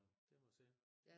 Ja det må man sige